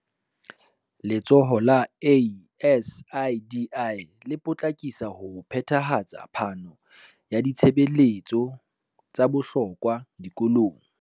Letsholo la ASIDI le potlakisa ho phethahatsa phano ya ditshebeletso tsa bohlokwa dikolong